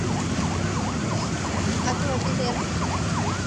аква билет